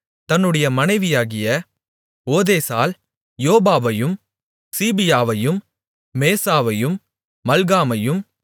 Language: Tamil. தன்னுடைய மனைவியாகிய ஓதேசால் யோபாபையும் சீபீயாவையும் மேசாவையும் மல்காமையும்